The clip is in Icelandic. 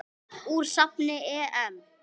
Úr safni EM.